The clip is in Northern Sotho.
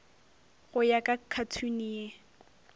go ya ka khathuni ye